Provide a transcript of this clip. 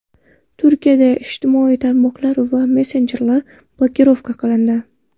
Turkiyada ijtimoiy tarmoqlar va messenjerlar blokirovka qilindi.